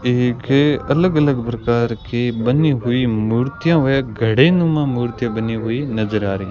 एक ये अलग अलग प्रकार की बनी हुई मूर्तियों में घड़ेनुमा मूर्ति बनी हुई नजर आ रही --